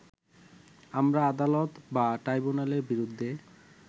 আমরা আদালত বা ট্রাইব্যুনালের বিরুদ্ধে